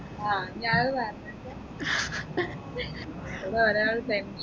ആ ഇനി അ ഹ് പറഞ്ഞിട്ട് ഇടെ ഒരാള് tension അടിച്ച്